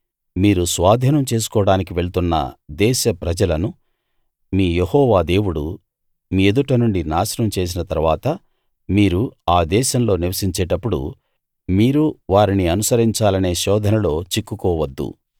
మీరు స్వాధీనం చేసుకోడానికి వెళ్తున్న దేశ ప్రజలను మీ యెహోవా దేవుడు మీ ఎదుట నుండి నాశనం చేసిన తరువాత మీరు ఆ దేశంలో నివసించేటప్పుడు మీరు వారిని అనుసరించాలనే శోధనలో చిక్కుకోవద్దు